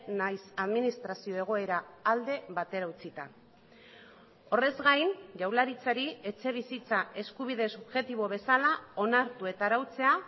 nahiz administrazio egoera alde batera utzita horrez gain jaurlaritzari etxebizitza eskubide subjektibo bezala onartu eta arautzea